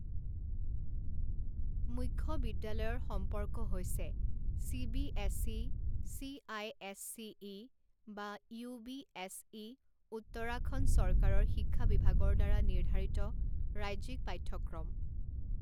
মুখ্য বিদ্যালয়ৰ সম্পৰ্ক হৈছে চিবিএছই, চিআইএছচিই বা ইউবিএছই, উত্তৰাখণ্ড চৰকাৰৰ শিক্ষা বিভাগৰ দ্বাৰা নিৰ্ধাৰিত ৰাজ্যিক পাঠ্যক্ৰম।